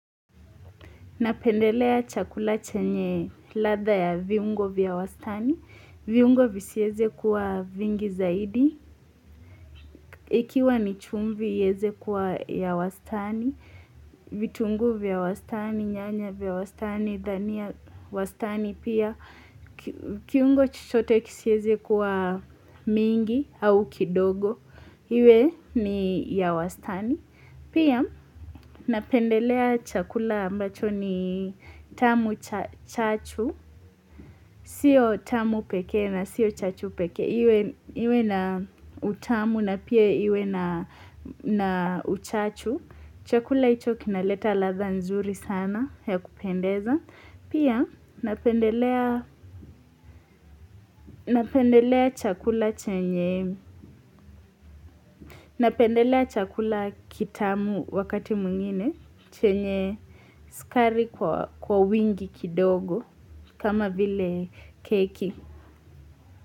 Napendelea chakula chenye ladha ya viungo vya wastani, viungo visieze kuwa vingi zaidi, ikiwa ni chumvi iweze kuwa ya wastani, vitunguu vya wastani, nyanya vya wastani, dania wastani pia, kiungo kisiweze chochote kuwa mingi au kidogo, iwe ni ya wastani pia. Pia napendelea chakula ambacho ni tamu chachu, sio tamu pekee na sio chachu peke iwe na utamu na pia iwe na uchachu chakula hicho kinaleta ladha zuri sana ya kupendeza pia napendelea chakula chenye napendelea chakula kitamu wakati mwingine chenye sukari kwa wingi kidogo kama vile keki.